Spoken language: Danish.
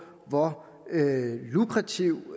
hvor lukrativ